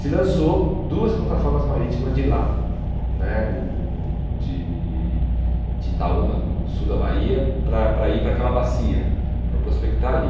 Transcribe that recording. Se lançou duas plataformas marítimas de lá né do de, de Itaúna, do do sul da Bahia, para para ir para aquela bacia, para prospectar ali.